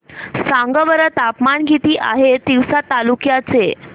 सांगा बरं तापमान किती आहे तिवसा तालुक्या चे